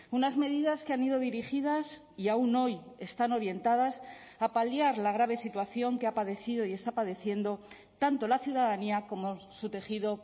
unas medidas que han ido dirigidas y aún hoy están orientadas a paliar la grave situación que ha padecido y está padeciendo tanto la ciudadanía como su tejido